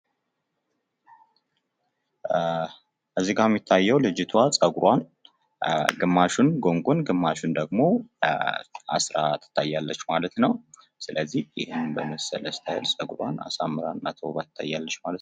እዚጋ የምትታየዉ ልጅቱዋ ጸጉሩዋን ግማሹን ጉንጉን ግማሹን ደሞ አስራ ትታያለች ማለት ነው ፤ ስለዚህ ይህን በመሰለ ስታይል ጸጉሩዋን አሳምራ እና ተዉባ ትታያለች ማለት ነው።